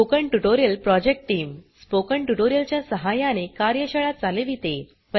spoken tutorial project team spoken tutorial च्या सहाय्याने कार्यशाळा चालविते